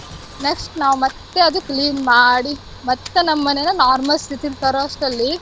Next ನಾವ್ ಮತ್ತೆ ಅದ್ clean ಮಾಡಿ ಮತ್ತೆ ನಮ್ ಮನೇನ normal ಸ್ಥಿತಿಗ್ ತರೋವಷ್ಟ್ರಲ್ಲಿ